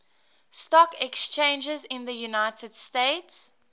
stock exchanges in the united states